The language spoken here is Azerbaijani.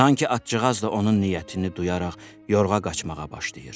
Sanki atcığaz da onun niyyətini duyaraq Yorğa qaçmağa başlayır.